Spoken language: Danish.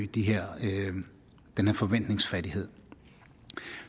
den her forventningsfattighed